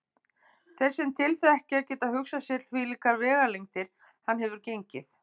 Þeir sem til þekkja geta hugsað sér hvílíkar vegalengdir hann hefur gengið.